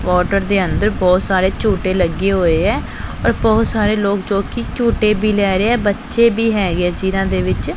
Quarter ਦੇ ਅੰਦਰ ਬਹੁਤ ਸਾਰੇ ਝੂੰਟੇ ਲੱਗੇ ਹੋਏ ਹੈਂ ਔਰ ਬਹੁਤ ਸਾਰੇ ਲੋਗ ਜੋਕੀ ਝੂੰਟੇ ਵੀ ਲਏ ਰਹੇ ਹੈਂ ਬੱਚੇ ਵੀ ਹੈਗੇ ਹੈਂ ਜਿਹਨਾਂ ਦੇ ਵਿੱਚ।